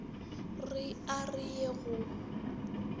re a re ye go